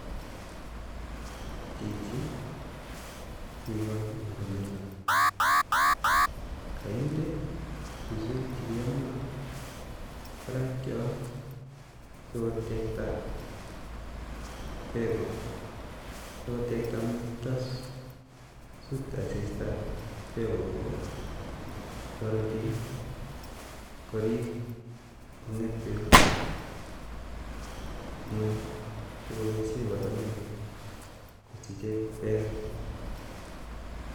Chichi kikol watermelon ,ikire suswek chemi parak yoto sikotekta peko sityo matasut asista peko kobok, tarati korip kunget peko ing ngweny sikoboishe watermelon kosiche peka